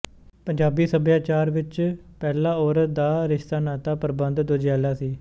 ਪੰਜਾਬੀ ਸੱਭਿਆਚਾਰ ਵਿੱਚ ਪਹਿਲਾਂ ਔਰਤ ਦਾ ਰਿਸ਼ਤਾ ਨਾਤਾ ਪ੍ਰਬੰਧ ਦੁਜੈਲਾ ਸੀ